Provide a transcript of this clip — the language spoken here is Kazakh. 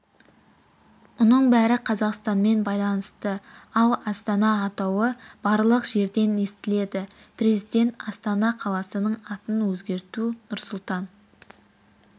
мұның бәрі қазақстанмен байланысты ал астана атауы барлық жерден естіледі президент астана қаласының атын өзгерту нұрсұлтан